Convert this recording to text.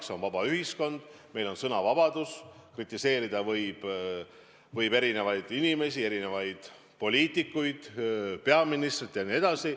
Meil on vaba ühiskond, meil on sõnavabadus, kritiseerida võib erinevaid inimesi, erinevaid poliitikuid, peaministrit jne.